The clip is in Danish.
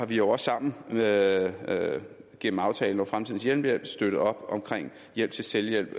vi også sammen gennem aftalen om fremtidens hjemmehjælp støttet op om hjælp til selvhjælp